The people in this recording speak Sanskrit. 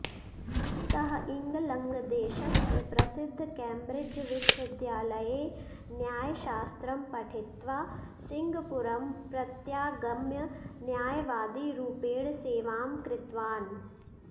सः इङ्लन्ड् देशस्य प्रसिद्धकेम्ब्रिड्ज्विश्वविद्यालये न्यायशास्त्रं पठित्वा सिङ्गपूरं प्रत्यागम्य न्यायवादीरूपेण सेवां कृतवान्